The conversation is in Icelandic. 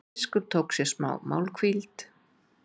Biskup tók sér málhvíld.